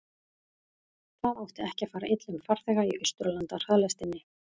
það átti ekki að fara illa um farþega í austurlandahraðlestinni